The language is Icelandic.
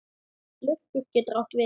Lurkur getur átt við